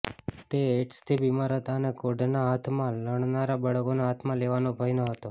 તે એઇડ્સથી બીમાર હતા અને કોઢના હાથમાં લણનારા બાળકોના હાથમાં લેવાનો ભય ન હતો